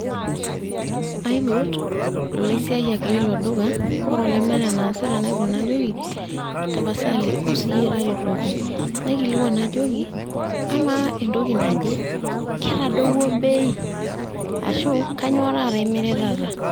Aipot, ilaosiayiak leilo duka. Ore olemeeta enaasita najoki, tapasali, wou siyie taretoki. Naikilikwan najoki, amaa entoki naje, ketadowuo bei? Ashu kanyioo taata imiritata?